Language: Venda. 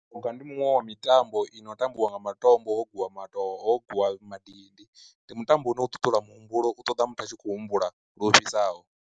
U ga ndi muṅwe wa mitambo i no tambiwa nga matombo wo gwiwa mato ho gwiwa madindi, ndi mutambo une u ṱuṱula muhumbulo u ṱoḓa muthu a tshi khou humbula lu ofhisaho.